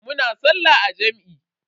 Muna sallah a jam'i.